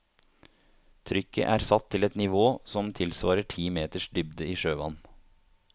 Trykket er satt til et nivå som tilsvarer ti meters dybde i sjøvann.